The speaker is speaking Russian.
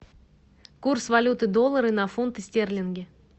курс валюты доллары на фунты стерлинги